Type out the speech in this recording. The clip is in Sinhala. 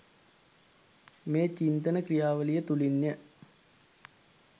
මේ චින්තන ක්‍රියාවලිය තුළින්ය.